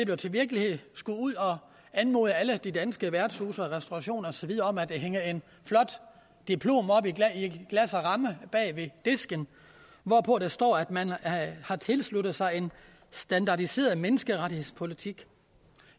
blev til virkelighed skulle ud og anmode alle de danske værtshuse og restaurationer og så videre om at hænge et flot diplom op i glas og ramme bag ved disken hvorpå der står at man har tilsluttet sig en standardiseret menneskerettighedspolitik